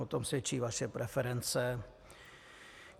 O tom svědčí vaše preference.